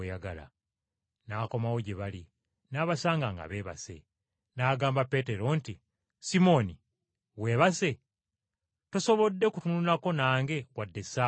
N’akomawo gye bali, n’abasanga nga beebase. N’agamba Peetero nti, “Simooni! Weebase? Tosobodde kutunulako nange wadde essaawa emu?